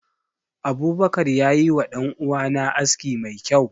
Abubakar ya yi wa danuwa na aski mai kyau.